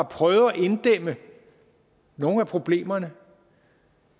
prøvet at inddæmme nogle af problemerne